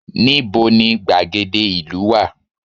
Ní bo ni gbàgede ìlú wà